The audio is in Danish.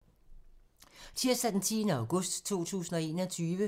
Tirsdag d. 10. august 2021